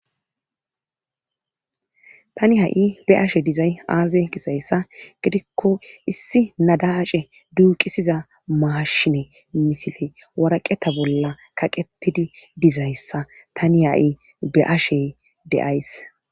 Tani ha'ibeashe dizay aaze kisayssa gidikko issi nadace duuqisiza maashine misile waraqeta bolla kaqetidi dizayssa tani ha7i be ashe deays.